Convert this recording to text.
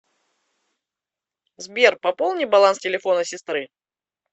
сбер пополни баланс телефона сестры